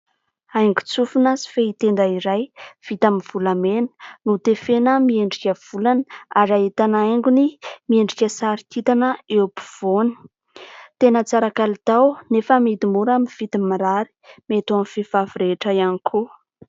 Haingon-tsofina sy fehitenda iray vita amin'ny volamena, notefena miendrika volana ary ahitana haingony miendrika sary kintana eo ampovoany. Tena tsara kalitao, nefa amidy mora amin'ny vidiny mirary ; mety ho an'ny vehivavy rehetra ihany koa.